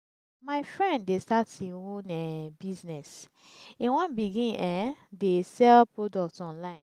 my friend dey start im own um business e wan begin um dey sell products online